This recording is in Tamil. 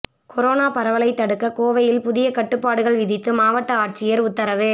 கொரோனா பரவலை தடுக்க கோவையில் புதிய கட்டுப்பாடுகள் விதித்து மாவட்ட ஆட்சியர் உத்தரவு